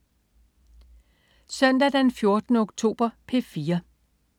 Søndag den 14. oktober - P4: